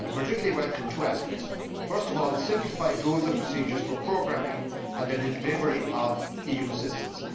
I particularly welcome two aspects first of all, the simplified rules and procedures for programming and the delivery of EU assistance